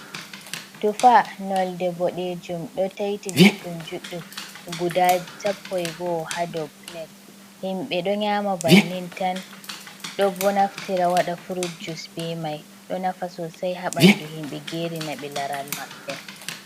Tufa nolde boɗejum ɗo taiti juɗɗum juɗɗum, guda sapoi e nai ha dou plat, himɓɓe ɗo nyama bannin tan, ɗo bo naftira wada frujus be mai, ɗo nafa sosei ha ɓanɗu himɓɓe, geri na ɓe laral maɓɓe.